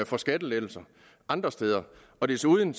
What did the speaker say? for skattelettelser andre steder desuden